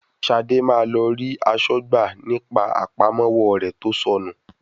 Ṣadé máa lọ rí aṣọ́gbà ní pa àpamọ́wọ́ rẹ tó sọ nù.